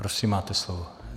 Prosím, máte slovo.